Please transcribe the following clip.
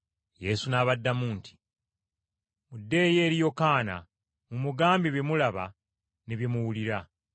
Yesu n’abaddamu nti, “Muddeeyo eri Yokaana mumugambe bye mulaba ne bye muwulira.